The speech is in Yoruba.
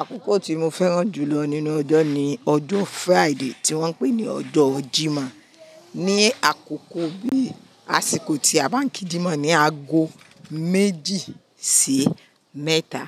Àkókò tí mo fẹ́ràn jù lọ nínú ọjọ́ ni ọjọ́ Friday tí wọ́n ń pè ní ọjọ́ jímọ́. Ni àkókò bí àsìkò tí a báa ń kí jímọ̀ ni ago méjì sí mẹ́ta.